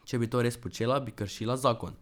Če bi to res počela, bi kršila zakon.